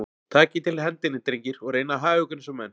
Takið til hendinni, drengir, og reynið að haga ykkur eins og menn.